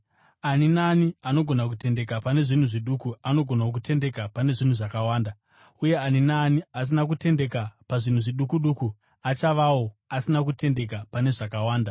“Ani naani anogona kutendeka pane zvinhu zviduku anogonawo kutendeka pane zvakawanda, uye ani naani asina kutendeka pazvinhu zviduku duku achavawo asina kutendeka pane zvakawanda.